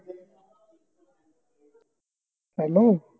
hello